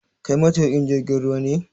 Kai matuƙin jirgin ruwa ne?